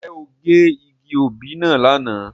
Nje o ge igi obí náa lana?